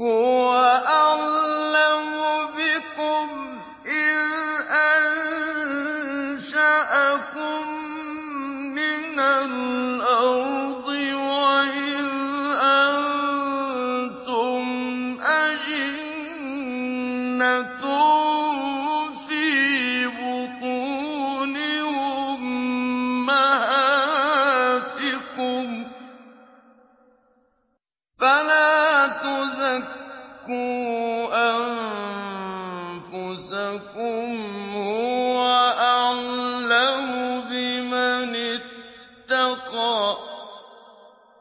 هُوَ أَعْلَمُ بِكُمْ إِذْ أَنشَأَكُم مِّنَ الْأَرْضِ وَإِذْ أَنتُمْ أَجِنَّةٌ فِي بُطُونِ أُمَّهَاتِكُمْ ۖ فَلَا تُزَكُّوا أَنفُسَكُمْ ۖ هُوَ أَعْلَمُ بِمَنِ اتَّقَىٰ